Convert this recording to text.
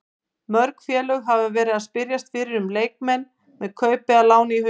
Mörg félög hafa verið að spyrjast fyrir um leikmenn með kaup eða lán í huga.